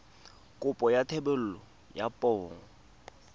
kopo ya thebolo ya poo